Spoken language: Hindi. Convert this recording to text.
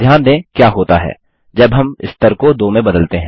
ध्यान दें क्या होता है जब हम स्तर को 2 में बदलते हैं